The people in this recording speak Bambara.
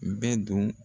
Bɛɛ don